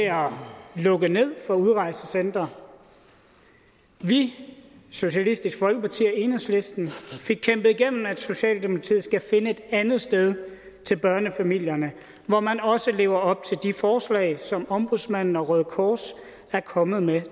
lukke ned for udrejsecentre vi socialistisk folkeparti og enhedslisten fik kæmpet igennem at socialdemokratiet skal finde et andet sted til børnefamilierne hvor man også lever op til de forslag som ombudsmanden og røde kors er kommet med